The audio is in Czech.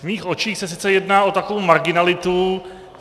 V mých očích se sice jedná o takovou marginalitu.